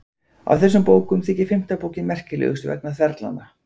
Af þessum bókum þykir fimmta bókin merkilegust vegna þverlanna.